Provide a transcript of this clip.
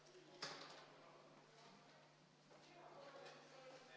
V a h e a e g